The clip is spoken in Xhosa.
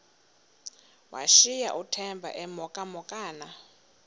washiyeka uthemba emhokamhokana